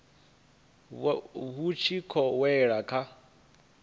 vhu tshi khou wela kha